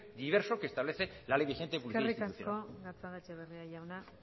diverso que establece la ley vigente de publicidad institucional eskerrik asko gatzagaetxebarria jauna